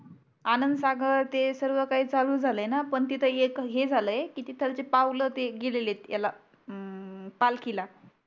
आनंद सागर ते सर्व काही चालू झालये ना पण तिथे एक हे झालये तिथले ते पावले गेलेले आहे याला. हम्म पालखीला